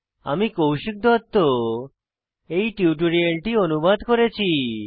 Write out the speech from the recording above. আমি কৌশিক দত্ত এই টিউটোরিয়ালটি অনুবাদ করেছি